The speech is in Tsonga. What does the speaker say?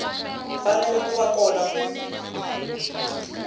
fanele ku va kona ku